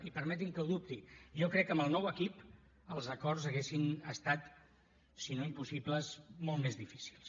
i permeti’m que ho dubti jo crec que amb el nou equip els acords haurien estat si no impossibles molt més difícils